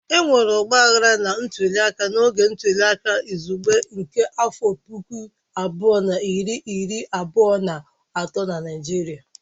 Enwere ọgbaghara na ntuliaka n'oge ntuliaka izugbe nke afọ puku abụọ na iri iri abụọ na atọ na Naịjirịa.